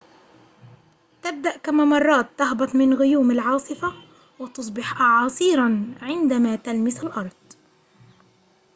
تبدأ كممرات تهبط من غيوم العاصفة وتصبح أعاصيرًا عندما تلمس الأرض